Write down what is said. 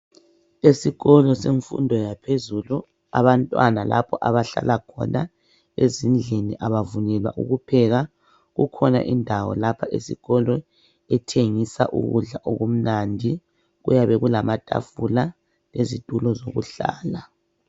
Esikolo semfundo yaphezulu abantwana laoho abahlala khona ezindlini abavunyelwa ukupheka kukhona indawo lapha esikolo ethengisa ukudla okumnandi. Kuyabe kulamatafula lezitulo zokuhlala.